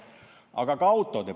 Aga on ka autod.